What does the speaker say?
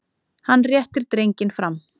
Hann réttir drenginn fram.